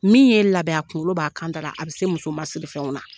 Min ye n labɛn a kunkolo b'a kan da la a bɛ se musomasirifɛnw na.